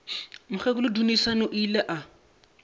mokgekolo dunusani o ile a